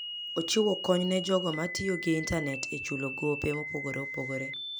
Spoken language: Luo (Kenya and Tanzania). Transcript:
Ochiwo kony ne jogo ma tiyo gi intanet e chulo gope mopogore opogore.